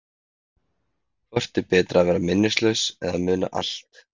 Hvort er betra að vera minnislaus eða muna allt?